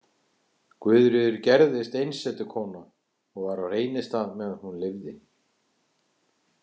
Guðríður gerðist einsetukona og var á Reynistað meðan hún lifði.